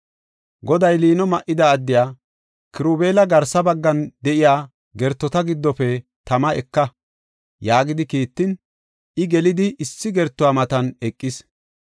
Goday liino ma7ida addiya, “Kirubeela garsa baggan de7iya gertota giddofe tama eka” yaagidi kiittin, I gelidi issi gertuwa matan eqis.